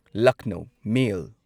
Lucknow ꯃꯦꯜ